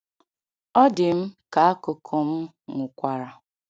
Ọ dị m ka akụkụ m nwụkwara.